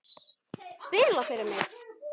Spila fyrir mig?